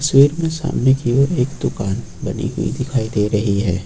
Gate मे सामने की ओर एक दुकान बनी हुई दिखाई दे रही है।